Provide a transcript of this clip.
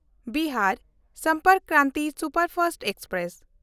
Bihar Sampark Kranti superfast express